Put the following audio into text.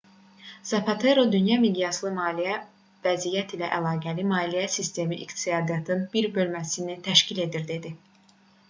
zapatero dünya miqyaslı maliyyə vəziyyəti ilə əlaqəli maliyyə sistemi iqtisadiyyatın bir bölməsini təşkil edir dedi